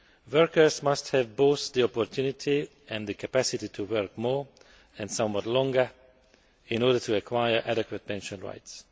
Workers must have both the opportunity and the capacity to work more and somewhat longer in order to acquire adequate pension rights.